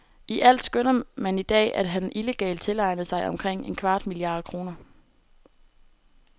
I alt skønner man i dag, at han illegalt tilegnede sig omkring en kvart milliard kroner.